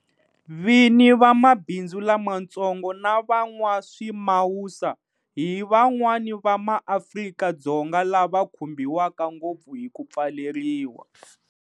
Vini va mabindzu lamatsongo na van'waswimawusa hi van'wana va maAfrika-Dzonga lava va khumbiwaka ngopfu hi ku pfaleriwa.